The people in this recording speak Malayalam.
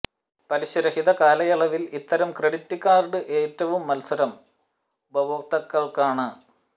പലിശരഹിത കാലയളവിൽ ഇത്തരം ക്രെഡിറ്റ് കാർഡ് ഏറ്റവും മത്സരം ഉപഭോക്താക്കകൾക്കു് ആണ്